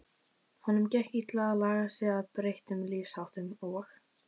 Honum gekk illa að laga sig að breyttum lífsháttum og